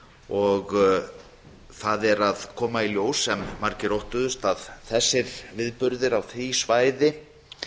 og það er að koma í ljós sem margir óttuðust að þessir viðburðir á því svæði